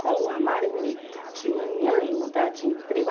com a marmita de manhã e mudar de emprego.